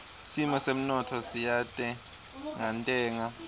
simo semnotfo siyantengantenga